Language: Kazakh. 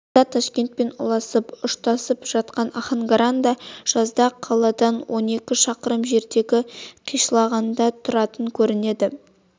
қыста ташкентпен ұласып ұштасып жатқан ахангаранда жазда қаладан он екі шақырым жердегі қишлағында тұратын көрінеді